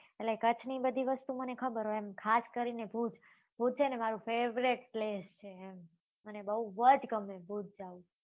એટલેકચ્છ ની બધી વસ્તુ મને ખબર હોય એમ ખાસ કરી ને ભુજ ભુજ છે ને મારું favorite place છે ને બઉ જ ગમે ભુજ જવું